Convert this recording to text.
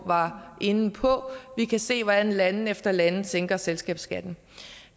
var inde på vi kan se hvordan lande efter lande sænker selskabsskatten